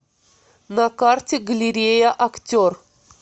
на карте галерея актер